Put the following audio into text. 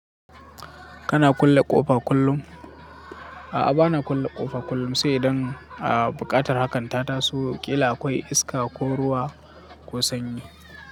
Kana kulle ƙofa kullum? A'a bana kulle ƙofa kullum sai idan a buƙatar hakan ta taso ƙila akwai iska ko ruwa ko sanyi.